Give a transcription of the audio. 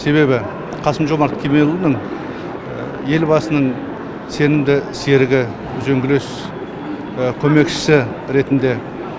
себебі қасым жомарт кемелұлының елбасының сенімді серігі үзеңгілес көмекшісі ретінде